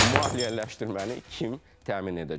maliyyələşdirməni kim təmin edəcək?